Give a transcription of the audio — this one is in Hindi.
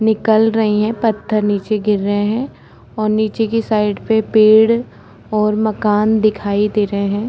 निकल रही हैं। पत्थर नीचे गिर रहे हैं और नीचे की साइड पे पेड़ और मकान दिखाई दे रहे हैं।